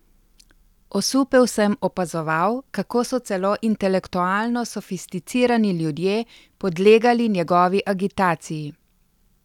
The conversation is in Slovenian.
Osupel sem opazoval, kako so celo intelektualno sofisticirani ljudje podlegali njegovi agitaciji.